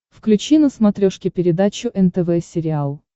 включи на смотрешке передачу нтв сериал